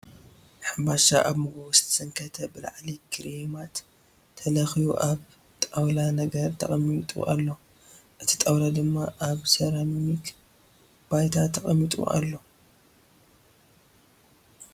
ሕምባሻ ኣብ መጎጎ ዝተሰንከተ ብላዕሊ ክሬማት ተለኽዩ ኣብ ጣውላ ነገር ተቐሚጡ አሎ ። እቲ ጣውላ ድማ ኣብ ሰራሚክ ባይታ ተቐሚጡ ኣሎ ።